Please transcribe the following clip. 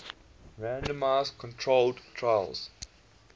randomized controlled trials